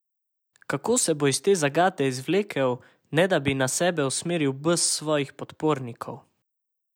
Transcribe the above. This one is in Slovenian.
Kako se bo iz te zagate izvlekel, ne da bi na sebe usmeril bes svojih podpornikov?